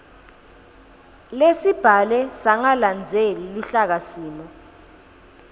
lesibhalwe sangalandzeli luhlakasimo